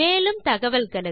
மேலும் தகவல்களுக்கு